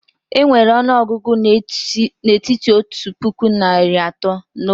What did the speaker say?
Enwere ọnụọgụ n'etiti otu puku na narị atọ na otu na otu puku narị atọ na iri ise